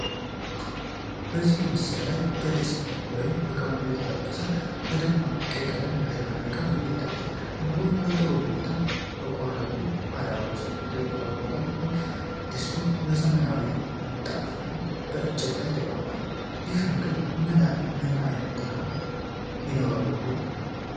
በዚህ ምስል ላይ በድስት ውስጥ በቅመም የተጠበሰ እና በደማቅ ቀይ ቀለም ያሸበረቀ ምግብ ይታያል፤ ምግቡ በጥሩ ሁኔታ በቆረጡ ቃሪያዎች የተንቆጠቆጠ ሲሆን፣ ድስቱም በዘመናዊ ምንጣፍ እና በእንጨት ላይ ተቀምጧል። ይህ ምግብ ምን ዓይነት ጣዕም ይኖረው ይሆን?